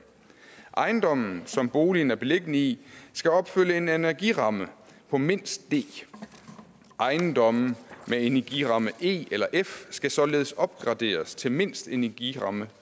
ejendommen som boligen er beliggende i skal opfylde en energiramme på mindst d ejendomme med energiramme e eller f skal således opgraderes til mindst energiramme